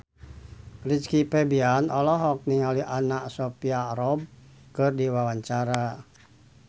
Rizky Febian olohok ningali Anna Sophia Robb keur diwawancara